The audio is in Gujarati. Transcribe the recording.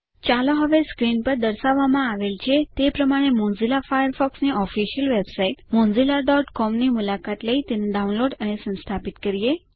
000332 000310 ચાલો હવે સ્ક્રીન પર દર્શાવવામાં આવેલ છે તે પ્રમાણે મોઝીલા ફાયરફોક્સની ઓફિસિયલ વેબસાઈટ mozillaસીઓએમ ની મુલાકાત લઇ તેને ડાઉનલોડ અને સંસ્થાપિત કરીએ